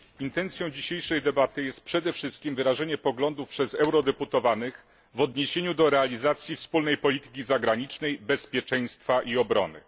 Intencją dzisiejszej debaty jest przede wszystkim wyrażenie poglądów przez eurodeputowanych w odniesieniu do realizacji wspólnej polityki zagranicznej, bezpieczeństwa i obrony.